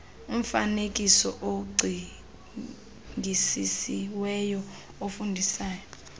umfaneekiso ocingisisiweyo ofundisayo